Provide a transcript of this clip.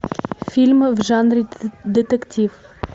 фильмы в жанре детектив